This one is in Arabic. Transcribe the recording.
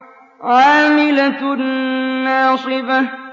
عَامِلَةٌ نَّاصِبَةٌ